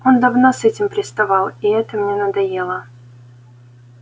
он давно с этим приставал и это мне надоело